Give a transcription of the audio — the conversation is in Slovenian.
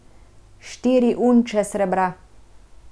Štiri unče srebra.